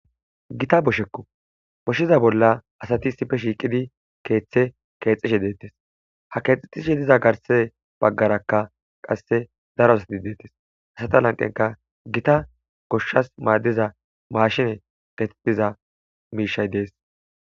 gita boshekko boshshiza bolla asati sife shiiqidi keeththe keexishe deettes ha keexetishe diza garse baggarakka qasse daro asati deettes asata lanqenka gita goshshas maaddiza maashine getetiza miishay dees